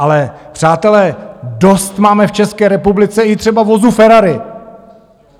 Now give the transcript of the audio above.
Ale přátelé, dost máme v České republice i třeba vozů Ferrari.